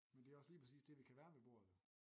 Men det er også lige præcis det vi kan være ved bordet jo